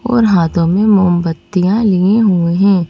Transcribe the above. और हाथों में मोमबत्तियां लिए हुए हैं।